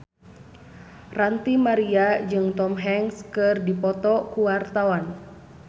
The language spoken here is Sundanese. Ranty Maria jeung Tom Hanks keur dipoto ku wartawan